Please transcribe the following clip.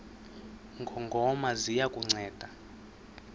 ngongoma ziya kukunceda